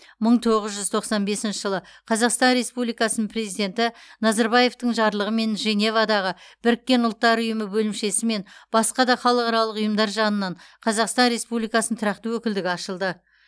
мың тоғыз жүз тоқсан бесінші жылы қазақстан республикасының президенті назарбаевтың жарлығымен женевадағы біріккен ұлттар ұйымы бөлімшесі мен басқа да халықаралық ұйымдар жанынан қазақстан республикасының тұрақты өкілдігі ашылды